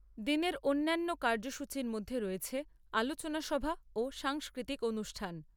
দিনের অন্যান্য কার্যসূচীর মধ্যে রয়েছে আলোচনা সভা ও সাংস্কৃতিক অনুষ্ঠান।